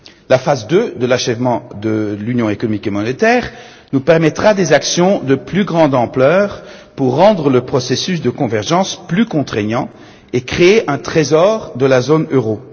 La deuxième phase de l'achèvement de l'union économique et monétaire nous permettra des actions de plus grande ampleur pour rendre le processus de convergence plus contraignant et créer un trésor de la zone